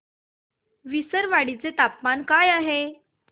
विसरवाडी चे तापमान काय आहे